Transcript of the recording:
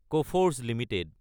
Coforge Ltd